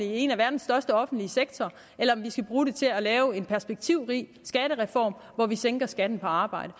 i en af verdens største offentlige sektorer eller om vi skal bruge det til at lave en perspektivrig skattereform hvor vi sænker skatten på arbejde